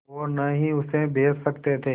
और न ही उसे बेच सकते थे